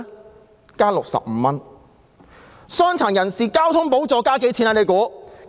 大家猜猜，傷殘人士交通補助又增加了多少？